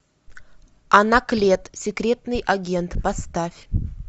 анаклет секретный агент поставь